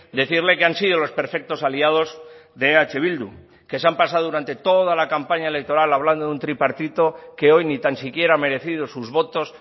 decirle que han sido los perfectos aliados de eh bildu que se han pasado durante toda la campaña electoral hablando de un tripartito que hoy ni tan siquiera ha merecido sus votos